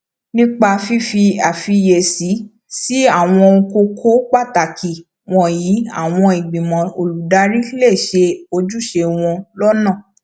nípa fífi àfiyèsí sí àwọn kókó pàtàkì wònyí àwọn ìgbìmọ olùdarí lè ṣe ojúṣe wọn lónà